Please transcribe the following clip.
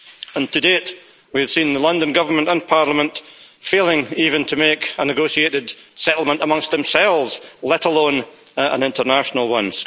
And to date, we have seen the London government and Parliament failing even to make a negotiated settlement amongst themselves, let alone an international one.